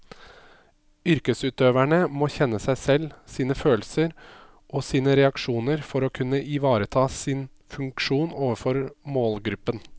Yrkesutøverne må kjenne seg selv, sine følelser og sine reaksjoner for å kunne ivareta sin funksjon overfor målgruppen.